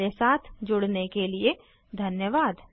हमारे साथ जुड़ने के लिए धन्यवाद